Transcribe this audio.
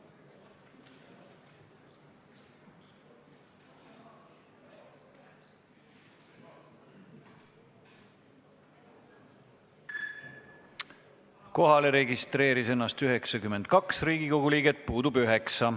Kohaloleku kontroll Kohalolijaks registreeris ennast 92 Riigikogu liiget, puudub 9.